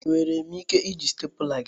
Enwere m ike iji stapula gi?